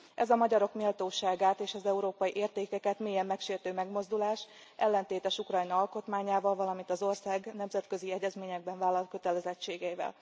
Ez a magyarok méltóságát, és az európai értékeket mélyen megsértő megmozdulás ellentétes Ukrajna alkotmányával, valamint az ország nemzetközi egyezményekben vállalt kötelezettségeivel.